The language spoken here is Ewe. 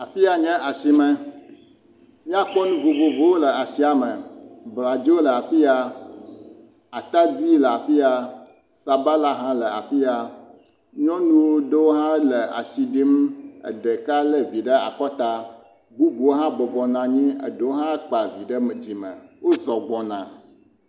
Afia nye asime. Miakpɔ nu vovovowo le asia me; bladzo le afia, atadi le afia, sabala hã le afia, nyɔnu ɖewo hã le asi ɖim. Ɖeka lé vi ɖe akɔta. Bubu hã bɔbɔ nɔ anyi. Eɖo hã kpa vi ɖe dzime. Wozɔ̃ gbɔna.